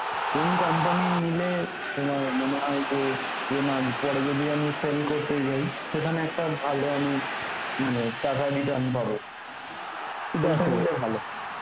কোন company নিলে তোমার মনে হয় যে, যে না পরে যদি আমি sell করতে যাই সেখানে একটা ভালো আমি মানে টাকা return পাবো ভালো হয়